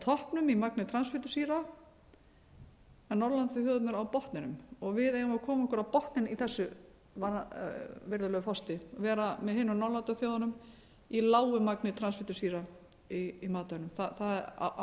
toppnum í magni transfitusýra en norðurlandaþjóðirnar á botninum og við eigum að koma okkur á botninn í þessu virðulegi forseti vera með hinum norðurlandaþjóðunum í lágu magni transfitusýra í matvælum það á að